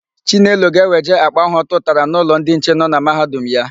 Chinelo ga-eweje àkpà áhụ̀ ọ tụtara n'ụlọ ndị nche nọ na Mahadum ya.